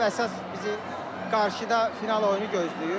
Əsas bizi qarşıda final oyunu gözləyir.